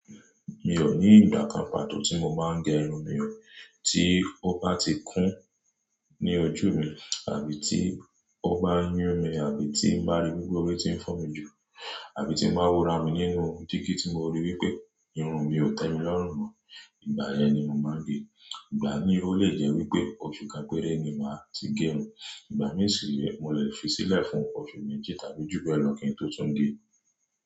Mi ò ní ìdàkàmpàtó tí mo máa ń gẹ irun mi, tí ó bá ti kún ní ojú mi, àbí tí ó bá yún mi, àbí tí ń bá rí gbígbó tí ń fún mi jù, àbí tí ń bá wo ara mi nínú dígí tí mo rí wípé irun mi ò tẹ́mi lọ́rùn mó, ìgbà yẹn ni mo máa ń gẹ. Ìgbà mìíràn ó lè jẹ́ wípé oṣù kan péré ni màá ti gé irun, ìgbà mìíràn sì mo lè fi sílẹ̀ fún oṣù méjì tàbí jù bẹ́ẹ̀ lọ kí n tó tún gẹ.